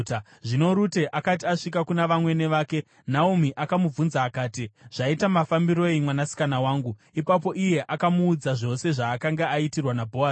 Zvino Rute akati asvika kuna vamwene vake, Naomi akamubvunza akati, “Zvaita mafambiroi mwanasikana wangu?” Ipapo iye akamuudza zvose zvaakanga aitirwa naBhoazi,